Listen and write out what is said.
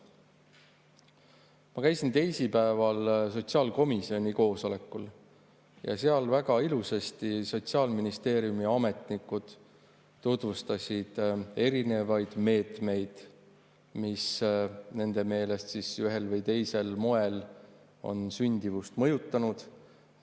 Ma käisin teisipäeval sotsiaalkomisjoni koosolekul ja seal Sotsiaalministeeriumi ametnikud väga ilusasti tutvustasid erinevaid meetmeid, mis nende meelest ühel või teisel moel on sündimust mõjutanud.